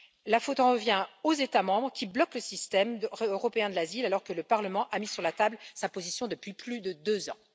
La faute en revient aux États membres qui bloquent le système européen de l'asile, alors que le Parlement a mis sur la table sa position depuis plus de deux ans.